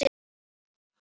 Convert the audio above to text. Og ég vandist því.